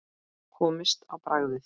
Komist á bragðið